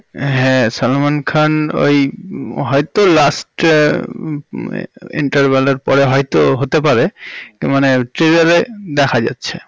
হ্যাঁ সালমান খান ওই হয়তো last এর interval এর পরে হয়তো হতে পারে মানে trailer এ দেখা যাচ্ছে